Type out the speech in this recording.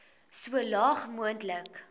so laag moontlik